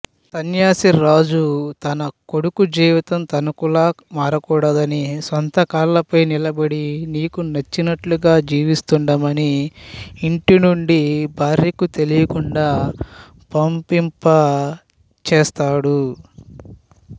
సన్యాసి రాజు తనకొడుకు జీవితం తనకులా మారకూడదని సొంతకాళ్ళపై నిలబడి నీకు నచ్చినట్టుగా జీవిస్తూఉండమని ఇంటినుండి భార్యకు తెలియకుండా పంపించేస్తాడు